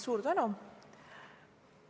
Suur tänu!